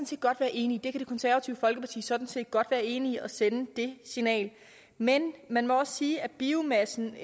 set godt være enig i det konservative folkeparti kan sådan set godt være enig i at sende det signal men man må også sige at biomassen